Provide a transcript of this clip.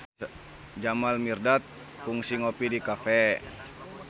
Jamal Mirdad kungsi ngopi di cafe